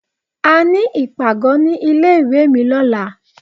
A ní ìpàgọ́ ní ilé ìwé mi lọ́la.